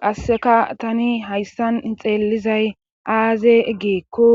qasseka tani hayssan xeellizay aaze eggeekko